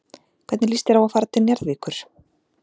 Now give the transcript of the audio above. Hvernig líst þér á að fara til Njarðvíkur?